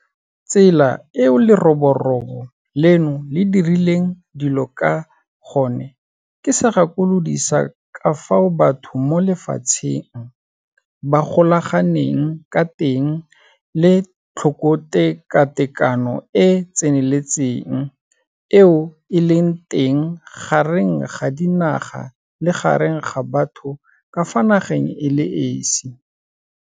Tsela eo leroborobo leno le dirileng dilo ka gone ke segakolodi sa ka fao batho mo lefatsheng ba golaganeng ka teng le tlhokotekatekano e e tseneletseng eo e leng teng gareng ga dinaga le gareng ga batho ka fa nageng e le esi.